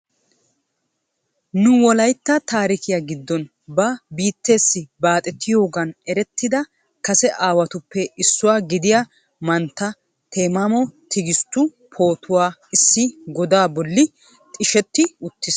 Nu Wolaytta taarikkiya giddon ba biittessi baaxettiyooga erettida kase aawatuppe issuwaa gidiya mantta Temamo Tigisttu pootuwaa issi godaa bolli xishsheti uttiis.